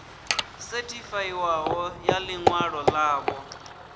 sethifaiwaho ya ḽi ṅwalo ḽavho